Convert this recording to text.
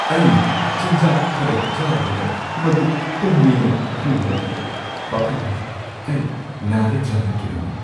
ꯑꯩꯅ ꯆꯤꯟꯖꯥꯛ ꯈꯔ ꯆꯥꯔꯨꯔꯒ ꯃꯗꯨ ꯄꯨꯝꯃꯦ ꯈꯪꯕꯗꯒꯤ ꯄꯥꯈꯠꯂꯝꯃꯤ꯫ ꯑꯩ ꯅꯥꯔꯗ꯭ꯔꯅ ꯀꯤꯔꯝꯃꯤ ꯫